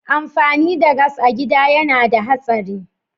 Amfani da gas a gida yana da hatsari.